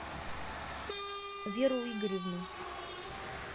веру игоревну